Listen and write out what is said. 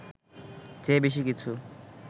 চেয়ে বেশি কিছু